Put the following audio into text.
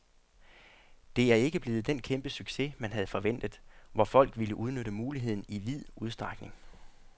Det er ikke blevet den kæmpe succes, man havde forventet, hvor folk ville udnytte muligheden i vid udstrækning.